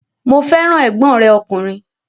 Mo fẹ́ràn ẹ̀gbọ́n rẹ̀ ọkùnrin